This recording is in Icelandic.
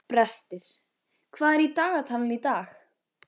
Brestir, hvað er í dagatalinu í dag?